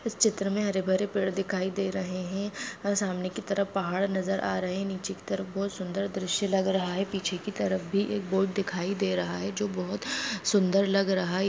इस चित्र मे हरे भरे पेड़ दिखाई दे रहे है और सामने के तरफ पहाड़ नजर आ रहे है नीचे की तरफ बहुत सुंदर दृश्य लग रहा है पीछे की तरफ भी एक बोर्ड दिखाई दे रहा है जो बहुत सुंदर लग रहा है।